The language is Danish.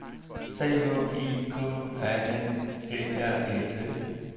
C H I K A N E R E T